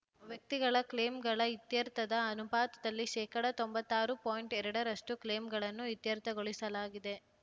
ವ್ಯಕ್ತಿಗತ ಕ್ಲೇಮ್‌ಗಳ ಇತ್ಯರ್ಥದ ಅನುಪಾತದಲ್ಲಿ ಶೇಕಡಾ ತೊಂಬತ್ತಾರು ಪಾಯಿಂಟ್ ಎರಡರಷ್ಟು ಕ್ಲೇಮ್‌ಗಳನ್ನು ಇತ್ಯರ್ಥಗೊಳಿಸಲಾಗಿದೆ